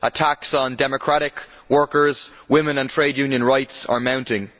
Attacks on democratic workers, women and trade union rights are mounting.